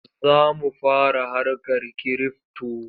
Za mu fara harkar kirifto.